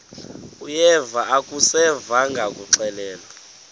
uyeva akuseva ngakuxelelwa